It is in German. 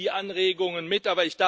wir nehmen die Anregungen mit.